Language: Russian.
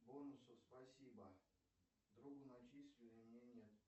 бонусов спасибо другу начислили мне нет